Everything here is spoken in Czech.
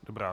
Dobrá.